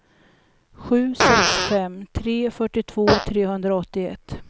sju sex fem tre fyrtiotvå trehundraåttioett